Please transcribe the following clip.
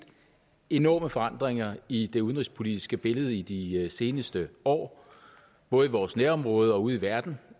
enorme forandringer i det udenrigspolitiske billede i de seneste år både i vores nærområder og ude i verden